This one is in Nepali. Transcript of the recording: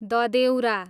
ददेउरा